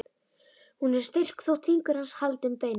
Hún er styrk þótt fingur hans haldi um beinin.